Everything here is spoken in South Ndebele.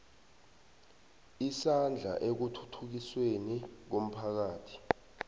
isandla ekuthuthukisweni komphakathi